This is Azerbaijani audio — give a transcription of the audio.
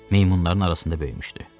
Meymunların arasında böyümüşdü.